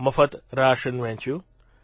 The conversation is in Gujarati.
મફત રાશન વહેંચ્યું